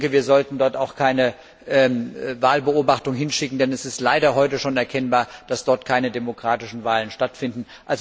Wir sollten dort auch keine Wahlbeobachtung hinschicken, denn es ist leider heute schon erkennbar, dass dort keine demokratischen Wahlen stattfinden.